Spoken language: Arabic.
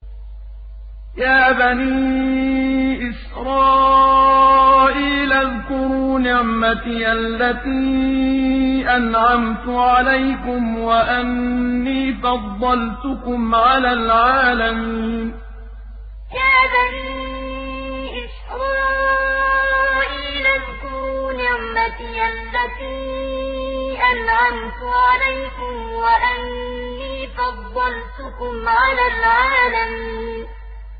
يَا بَنِي إِسْرَائِيلَ اذْكُرُوا نِعْمَتِيَ الَّتِي أَنْعَمْتُ عَلَيْكُمْ وَأَنِّي فَضَّلْتُكُمْ عَلَى الْعَالَمِينَ يَا بَنِي إِسْرَائِيلَ اذْكُرُوا نِعْمَتِيَ الَّتِي أَنْعَمْتُ عَلَيْكُمْ وَأَنِّي فَضَّلْتُكُمْ عَلَى الْعَالَمِينَ